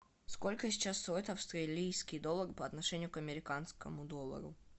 сколько сейчас стоит австралийский доллар по отношению к американскому доллару